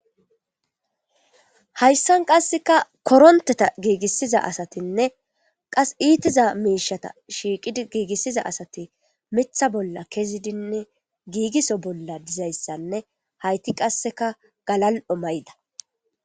Hayssan qasseka koronteta giigissiza asatinne qas iitiza miishata shiiqid giigissiza asati mitha bolla kezidinne giigiso bolla dizayssanne hayti qasseka galal7o mayda.